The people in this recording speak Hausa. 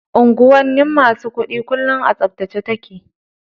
Unguwar masu kuɗi kullum a tsaftace take.